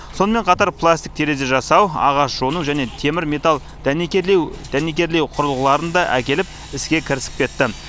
сонымен қатар пластик терезе жасау ағаш жону және темір металл дәнекерлеу құрылғыларын да әкеліп іске кірісіп кетті